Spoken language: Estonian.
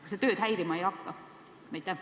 Kas see tööd häirima ei hakka?